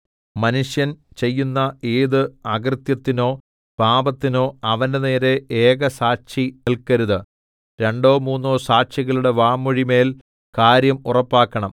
മനുഷ്യൻ ചെയ്യുന്ന ഏത് അകൃത്യത്തിനോ പാപത്തിനോ അവന്റെനേരെ ഏകസാക്ഷി നിൽക്കരുത് രണ്ടോ മൂന്നോ സാക്ഷികളുടെ വാമൊഴിമേൽ കാര്യം ഉറപ്പാക്കണം